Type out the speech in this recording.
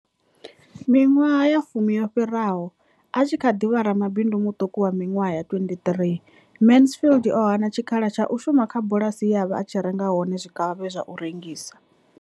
Miṅwaha ya fumi yo fhiraho, a tshi kha ḓi vha ramabindu muṱuku wa miṅwaha ya 23, Mansfield o hana tshikhala tsha u shuma kha bulasi ye a vha a tshi renga hone zwikavhavhe zwa u rengisa.